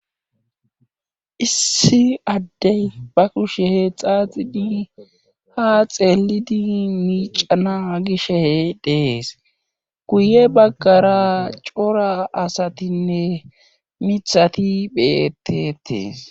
issi addey ba kushe hee xaaxidi ha xeelidi miicana gishe dees guye baggara cora asatinne mithati bettetees